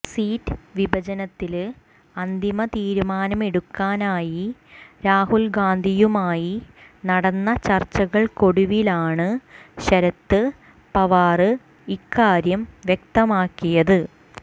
seat വിഭജനത്തില് അന്തിമ തീരുമാനമെടുക്കാനായി രാഹുല്ഗാന്ധിയുമായി നടന്ന ചര്ച്ചകള്ക്കൊടുവിലാണ് ശരത് പവാര് ഇക്കാര്യം വ്യക്തമാക്കിയത്